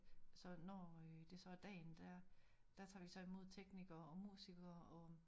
Så når det så er dagen der så tager vi så imod teknikere og musikere og